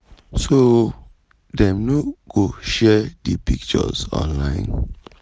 so dem no go share di pictures online.